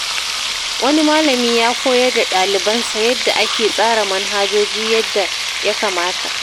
Wani malami ya koyar da ɗalibansa yadda ake tsara manhajoji yadda ya kamata.